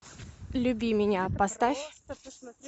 люби меня поставь